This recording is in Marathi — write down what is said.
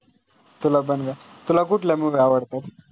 तुला पण का? तुला कुठला movie आवडतो.